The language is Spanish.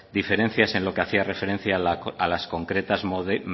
diferencias en lo que hacía referencia a las concretas